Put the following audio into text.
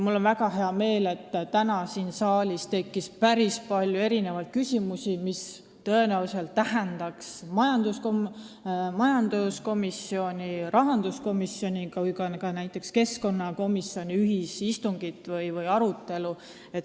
Mul on väga hea meel, et täna tekkis siin saalis päris palju küsimusi, mis tõenäoliselt tähendaks majanduskomisjoni, rahanduskomisjoni ja ka näiteks keskkonnakomisjoni ühisistungit või -arutelu.